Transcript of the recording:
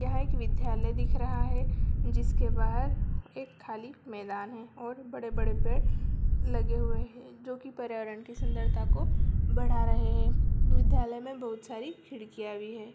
यह एक विद्यालय दिख रहा है जिसके बाहर एक खाली मैदान है और बड़े-बड़े पेड़ लगे हुए है जो की पर्यावरण की सुंदरता को बढ़ा रहे हैं विद्यालय मे बहुत सारी खिड़कियां भी हैं|